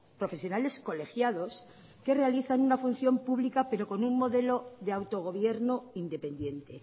profesionales colegiados que realizan una función pública pero con un modelo de autogobierno independiente